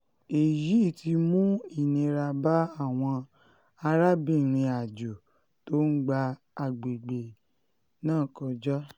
èyí um ti mú ìnira bá àwọn um arábìnrin-àjò tó ń gba àwọn agbègbè náà kọjá